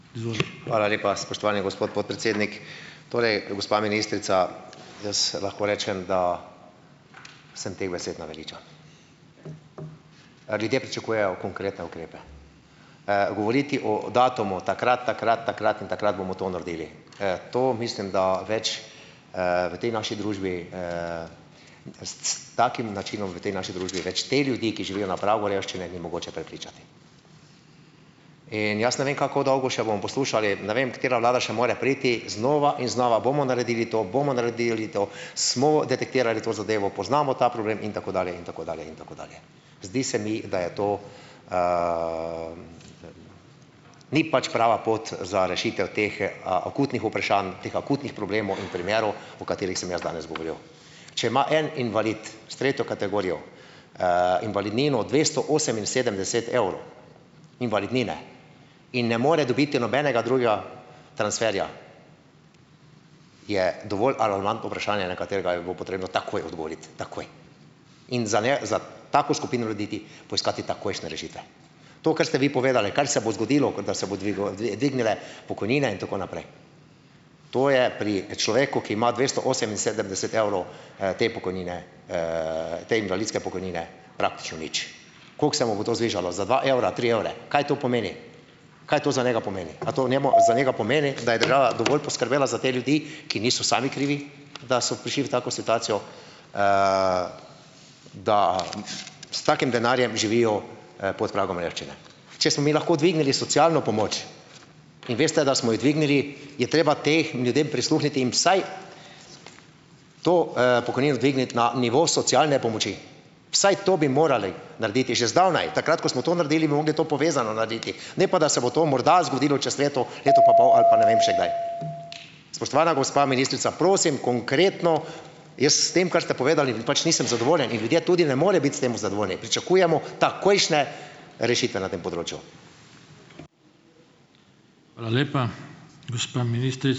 Hvala lepa, spoštovani gospod podpredsednik. Torej, gospa ministrica, jaz lahko rečem, da samo teh besed naveličan. Ljudje pričakujejo konkretne ukrepe. Govoriti o datumu - takrat, takrat, takrat in takrat bomo to naredili. To mislim, da več, v tej naši družbi, s, s takim načinom v tej naši družbi več, te ljudi, ki živijo na pragu revščine, ni mogoče prepričati. In jaz ne vem, kako dolgo še bomo poslušali, ne vem, katera vlada mora še priti - znova in znova bomo naredili to, bomo naredili to, smo detektirali to zadevo, poznamo ta problem in tako dalje in tako dalje in tako dalje. Zdi se mi, da je to, Ni pač prava pot za rešitev teh akutnih vprašanj, teh akutnih problemov in primerov, o katerih sem jaz danes govoril. Če ima en invalid s tretjo kategorijo, invalidnino dvesto oseminsedemdeset evrov - invalidnine in ne more dobiti nobenega drugega transferja, je dovolj alarmantno vprašanje, na katerega bi bilo potrebno takoj odgovoriti, takoj, in za ne, za tako skupino ljudi iti poiskat takojšne rešitve. To, kar ste vi povedali, kar se bo zgodilo, kot da se bo dvignile pokojnine in tako naprej, to je pri človeku, ki ima dvesto oseminsedemdeset evrov, te pokojnine, te invalidske pokojnine, praktično nič. Kako se mu bo to zvišalo - za dva evra, tri evre? Kaj to pomeni? Kaj to za njega pomeni? A to njemu, za njega pomeni, da je država dovolj poskrbela za te ljudi, ki niso sami krivi, da so prišli v tako situacijo, da s takim denarjem živijo, pod pragom revščine? Če smo mi lahko dvignili socialno pomoč, in veste, da smo jo dvignili, je treba teh ljudem prisluhniti, jim vsaj to, pokojnino dvigniti na nivo socialne pomoči, vsaj to bi morali narediti že zdavnaj. Takrat ko smo to naredili, bi mogli to povezano narediti, ne pa da se bo to morda zgodilo čez leto, leto pa pol ali pa ne vem še kdaj. Spoštovana gospa ministrica, prosim konkretno - jaz s tem, kar ste povedali, pač nisem zadovoljen in ljudje tudi ne morejo biti s tem zadovoljni. Pričakujemo takojšnje rešitve na tem področju.